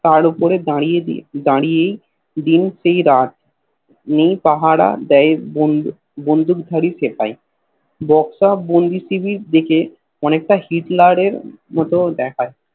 তার উপরে দাড়িয়ে দাড়িয়েই দিন সেই রাত নেই পাহাড় আর দেয় বঁধুক ঘাড়ে সেপাই বক্সা বন্দী সিবি দেখে অনেক টা হিটলারের মতো দেখায়